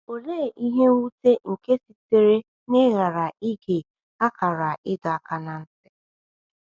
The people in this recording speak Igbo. Olee ihe nwute nke sitere n’ịghara ige akara ịdọ aka ná ntị!